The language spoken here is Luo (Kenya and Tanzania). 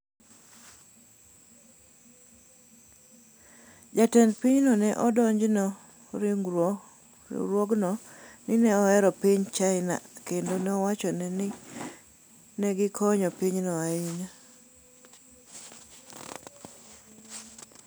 Jatend pinyno ne odonjone riwruogno ni ne ohero piny China kendo nowacho ni ne gikonyo pinyno ahinya.